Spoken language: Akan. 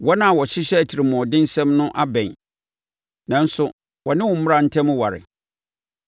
Wɔn a wɔhyehyɛ atirimuɔdensɛm no abɛn, nanso wɔne wo mmara ntam ware.